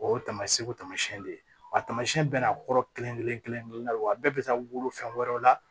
O y'o taamasiyɛnw taamasiyɛn de ye wa tamasiyɛn bɛɛ n'a kɔrɔ kelen kelen kelen kelenna wa bɛɛ bɛ taa wolo fɛn wɛrɛw la